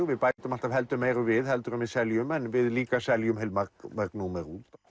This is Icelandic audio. við bætum alltaf heldur meiru við heldur en við seljum en við líka seljum heilmörg númer út